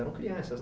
Eram crianças, né?